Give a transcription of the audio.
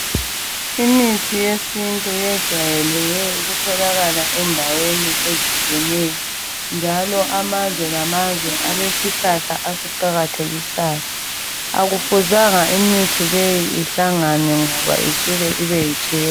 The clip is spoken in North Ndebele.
Imithi yesintu yejwayele ukutholakala endaweni ezitshiyeneyo. Njalo amazwe lamazwe alesihlahla asiqakathekisayo. Akufuzanga imithi leyi ihlangane ngoba isuka ibeyitshefu.